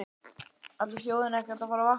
Ætlar þjóðin ekkert að fara að vakna?